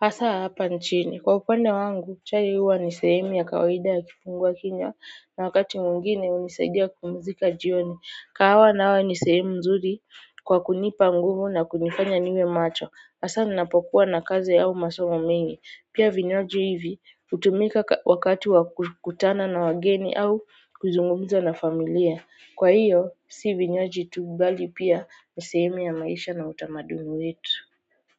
Hasa hapa nchini. Kwa upande wangu, chai huwa ni sehemu ya kawaida ya kifungua kinywa na wakati mwingine hunisaidia kupumzika jioni. Kahawa nayo ni sehemu mzuri kwa kunipa nguvu na kunifanya niwe macho. Asa ninapokuwa na kazi au masomo mengi. Pia vinywaji hivi hutumika wakati wa kukutana na wageni au kuzungumza na familia. Kwa hiyo, si vinywaji tu bali pia. Ni sehemu ya maisha na utamaduni wetu.